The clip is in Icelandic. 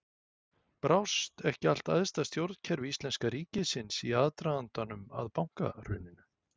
Brást ekki allt æðsta stjórnkerfi íslenska ríkisins í aðdragandanum að bankahruninu?